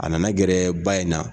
A nana gɛrɛ ba in na.